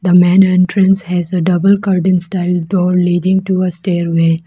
The main entrance has a double garden style door leaving to a stairway.